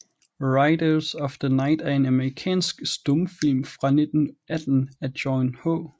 Riders of the Night er en amerikansk stumfilm fra 1918 af John H